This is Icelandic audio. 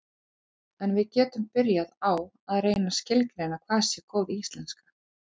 en við getum byrjað á að reyna að skilgreina hvað sé góð íslenska